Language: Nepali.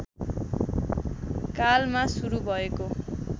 कालमा सुरु भएको